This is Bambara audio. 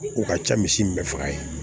U ka ca misi min faga ye